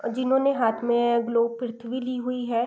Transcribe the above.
जिन्होंने हाथ में ग्लोब पृथ्वी ली हुई है।